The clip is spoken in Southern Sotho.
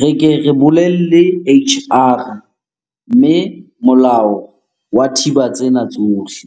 re ke re bolelle H_R mme molao wa thiba tsena tsohle.